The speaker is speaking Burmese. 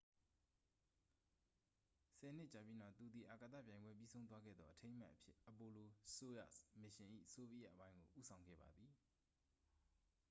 ဆယ်နှစ်ကြာပြီးနောက် သူသည် အာကာသပြိုင်ပွဲပြီးဆုံးသွားခဲ့သောအထိမ်းအမှတ်အဖြစ် apollo-soyuz မစ်ရှင်၏ ဆိုဗီယက်အပိုင်းကို ဦးဆောင်ခဲ့ပါသည်